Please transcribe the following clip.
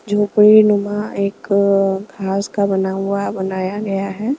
झोपड़ी नुमा एक अ घास का बना हुआ बनाया गया है .